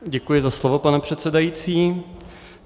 Děkuji za slovo, pane předsedající.